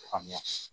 Faamuya